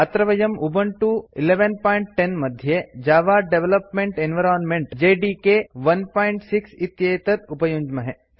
अत्र वयं उबुन्तु 1110 मध्ये जव डेवलपमेंट एन्वायरन्मेन्ट् जेडीके 16 इत्येतत् उपयुञ्ज्महे